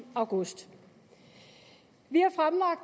august vi